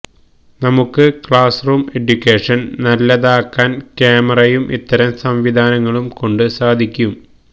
നമുക്ക് ക്ലാസ്റൂം എഡ്യൂക്കേഷന് നല്ലതാക്കാന് ക്യാമറയും ഇത്തരം സംവിധാനങ്ങളും കൊണ്ട് സാധിക്കും